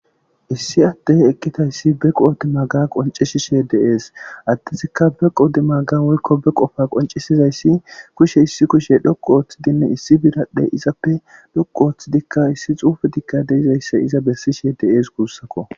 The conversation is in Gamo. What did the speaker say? Issi addey eqqidayssi be qoodi maaga qonccisishe de'esi addezika be qoodi maaga woykko be qofa qonccisizayssi kushshe issi kushshe dhoqqu oththidinne issi biradhe iizappe dhoqu ooththidika issi xuufey deizayssa iiza bessishe de'es gussuko.